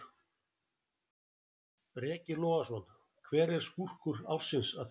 Breki Logason: Hver er skúrkur ársins að þínu mati?